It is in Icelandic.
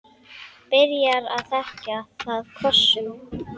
Byrjar að þekja það kossum.